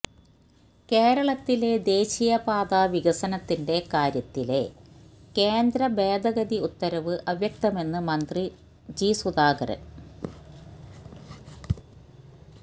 കേരളത്തിലെ ദേശീയ പാതാ വികസനത്തിന്റെ കാര്യത്തിലെ കേന്ദ്ര ഭേദഗതി ഉത്തരവ് അവ്യക്തമെന്ന് മന്ത്രി ജി സുധാകരൻ